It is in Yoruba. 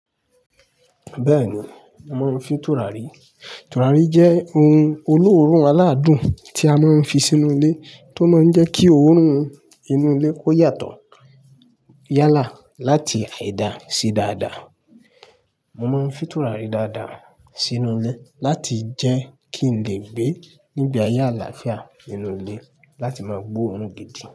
Bẹ́ẹ̀ni, mò ń mọ n fin tùràrí. Tùràrí jẹ́ ohun olóòórùn aládùn tí a máa ń fi sínú ilé tó máa ń jẹ́ kí òórùn inú ilé kó yàtọ̀. Yálà láti àìda sí dáadáa. Mò ń fin tùràrí dáadáa sínú ilé láti jẹ́ kí n lè gbé nígbe aye alàáfíà nínú ilé láti máa gbóòórùn gidi.